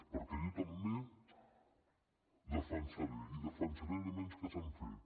perquè jo també defensaré i defensaré elements que s’han fet